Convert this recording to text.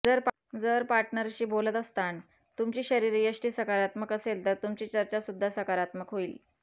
जर पार्टनरशी बोलत असतान तुमची शरीरयष्टी सकारात्मक असेल तर तुमची चर्चा सुद्धा सकारात्मक होईल